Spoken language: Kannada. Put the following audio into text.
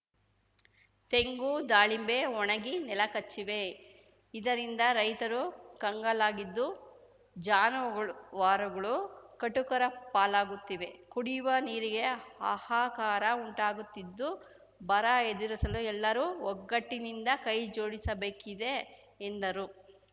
ತೆಂಗು ದಾಳಿಂಬೆ ಒಣಗಿ ನೆಲಕಚ್ಚಿವೆ ಇದರಿಂದ ರೈತರು ಕಂಗಾಲಾಗಿದ್ದು ಜಾನುವಾರುಗಳು ಕಟುಕರ ಪಾಲಾಗುತ್ತಿವೆ ಕುಡಿಯುವ ನೀರಿಗೆ ಹಾಹಾಕಾರ ಉಂಟಾಗುತ್ತಿದ್ದು ಬರ ಎದುರಿಸಲು ಎಲ್ಲರೂ ಒಗ್ಗಟ್ಟಿನಿಂದ ಕೈಜೋಡಿಸಬೇಕಿದೆ ಎಂದರು